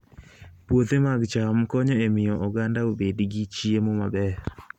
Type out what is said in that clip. Puothe mag cham konyo e miyo oganda obed gi chiemo maber